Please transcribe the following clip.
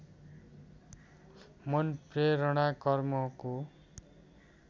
मन प्रेरणा कर्मको